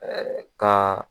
Ka.